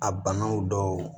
A banaw dɔw